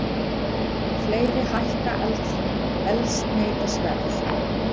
Fleiri hækka eldsneytisverð